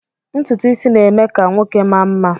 Ntutu isi na-eme ka nwoke maa mma